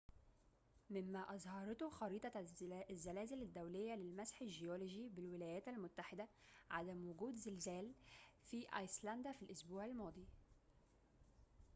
مما أظهرته خريطة الزلازل الدولية للمسح الجيولوجي بالولايات المتحدة عدم وجود زلازل في أيسلندا في الأسبوع الماضي